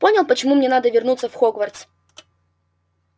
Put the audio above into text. понял почему мне надо вернуться в хогвартс